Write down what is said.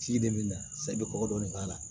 Ci de bɛ na sa i bɛ kɔkɔ dɔɔni k'a la